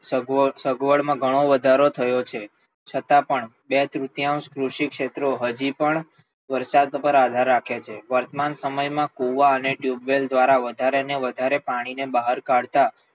સગવડમાં ઘણો વધારો થયો છે છતાં પણ બે તૃતીયાંશ કૃષિ ક્ષેત્રો હજી પણ વરસાદ પર આધાર રાખે છે વર્તમાન સમયમાં કુવા અને બોરવેલ દ્વારા વધારે ને વધારે પાણીને બહાર કાઢતા